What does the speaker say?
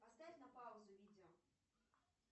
поставь на паузу видео